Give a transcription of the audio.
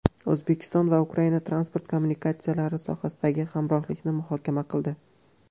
O‘zbekiston va Ukraina transport kommunikatsiyalari sohasidagi hamkorlikni muhokama qildi.